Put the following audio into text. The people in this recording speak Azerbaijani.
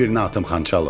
Qoy birini atım, Xançalov.